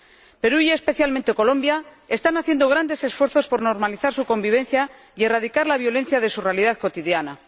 El Perú y, especialmente, Colombia están haciendo grandes esfuerzos por normalizar su convivencia y erradicar la violencia de su realidad cotidiana.